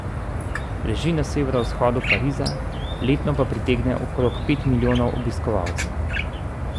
Leži na severovzhodu Pariza, letno pa pritegne okrog pet milijonov obiskovalcev.